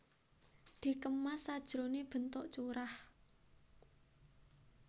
Dikemas sajroné bentuk curah